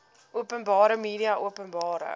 openbare media openbare